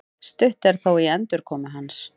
Stutt er þó í endurkomu hans